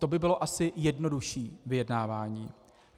To by bylo asi jednodušší vyjednávání.